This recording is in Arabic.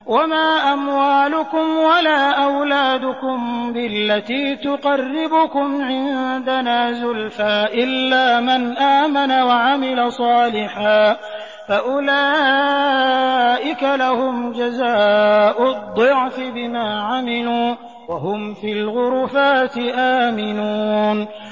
وَمَا أَمْوَالُكُمْ وَلَا أَوْلَادُكُم بِالَّتِي تُقَرِّبُكُمْ عِندَنَا زُلْفَىٰ إِلَّا مَنْ آمَنَ وَعَمِلَ صَالِحًا فَأُولَٰئِكَ لَهُمْ جَزَاءُ الضِّعْفِ بِمَا عَمِلُوا وَهُمْ فِي الْغُرُفَاتِ آمِنُونَ